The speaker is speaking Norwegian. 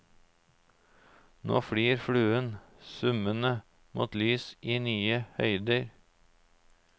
Nå flyr fluen summende mot lys i nye høyder.